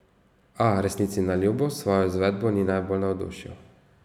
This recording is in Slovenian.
A, resnici na ljubo, s svojo izvedbo ni najbolj navdušil.